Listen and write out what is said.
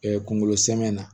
kungolo sɛmɛni na